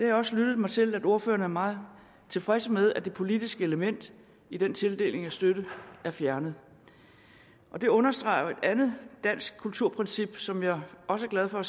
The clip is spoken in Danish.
jeg også lyttet mig til at ordførerne er meget tilfredse med at det politiske element i den tildeling af støtte er fjernet og det understreger jo et andet dansk kulturprincip som jeg også er glad for og